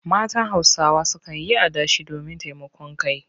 Matan Hausawa sukan yi adashi domin taimakon kai.